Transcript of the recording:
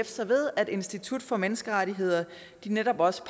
sig ved at institut for menneskerettigheder netop også